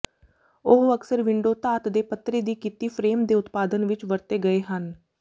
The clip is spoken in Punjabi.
ਉਹ ਅਕਸਰ ਵਿੰਡੋ ਧਾਤ ਦੇ ਪੱਤਰੇ ਦੀ ਕੀਤੀ ਫਰੇਮ ਦੇ ਉਤਪਾਦਨ ਵਿੱਚ ਵਰਤੇ ਗਏ ਹਨ